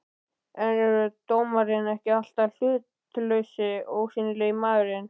er dómarinn ekki alltaf hlutlausi, ósýnilegi maðurinn?